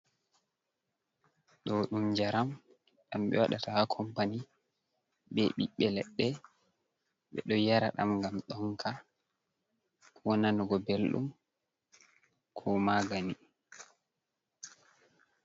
Ɗo ɗum jaram ɗam be waɗata ha kompani be bibbe leɗɗe ɓeɗo yara ɗam ngam ɗonka wo nanugo beldum, ko magani.